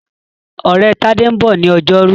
Ọ̀rẹ́ Tádé ń bọ̀ ní ọjọ́rú.